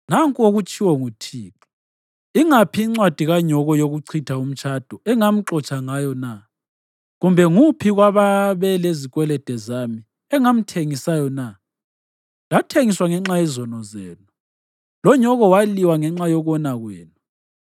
Nanku okutshiwo nguThixo: “Ingaphi incwadi kanyoko yokuchitha umtshado engamxotsha ngayo na? Kumbe nguphi kwababelezikwelede zami engamthengisayo na? Lathengiswa ngenxa yezono zenu, lonyoko waliwa ngenxa yokona kwenu.